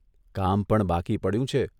કામ પણ બાકી પડ્યું છે